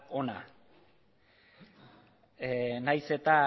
hona nahiz eta